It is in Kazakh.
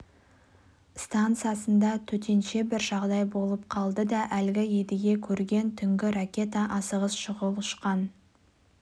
станциясында төтенше бір жағдай болып қалды да әлгі едіге көрген түнгі ракета асығыс шұғыл ұшқан